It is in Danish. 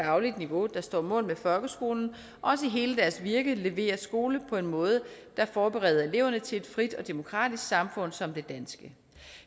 fagligt niveau der står mål med folkeskolen også i hele deres virke leverer skole på en måde der forbereder eleverne til et frit og demokratisk samfund som det danske